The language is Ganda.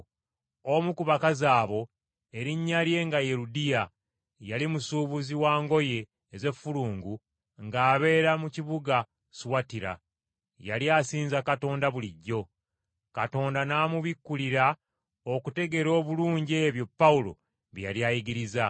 Omu ku bakazi abo erinnya lye nga ye Ludiya, yali musuubuzi wa ngoye ez’effulungu ng’abeera mu kibuga Suwatira. Yali asinza Katonda bulijjo. Katonda n’amubikkulira okutegeera obulungi ebyo Pawulo bye yali ayigiriza.